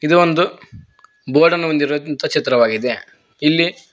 ಇದು ಒಂದು ಬೋರ್ಡ್ ಅನ್ನು ಹೊಂದಿರುವ ಚಿತ್ರವಾಗಿದೆ ಇಲ್ಲಿ--